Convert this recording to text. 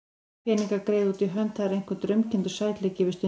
Peningar, greiða út í hönd, það er einhver draumkenndur sætleiki yfir stundinni.